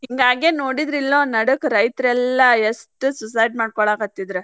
ಹಿಂಗಾಗೆ ನೊಡ್ರಿದ್ರಿಲ್ಲೋ ನಡಕ ರೈತ್ರೆಲ್ಲಾ ಎಷ್ಟ್ suicide ಮಾಡ್ಕೊಳಾಕತ್ತಿದ್ರ